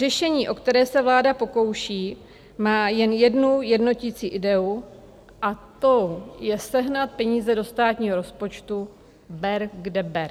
Řešení, o které se vláda pokouší, má jen jednu jednotící ideu, a tou je sehnat peníze do státního rozpočtu ber, kde ber.